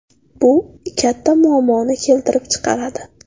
Bu katta muammoni keltirib chiqaradi.